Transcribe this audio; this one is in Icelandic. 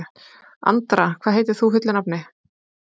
Andra, hvað heitir þú fullu nafni?